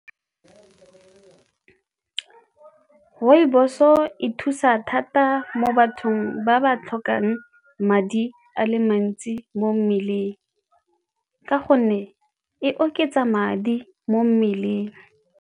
Rooibos-o e thusa thata mo bathong ba ba tlhokang madi a le mantsi mo mmeleng ka gonne e oketsa madi mo mmeleng.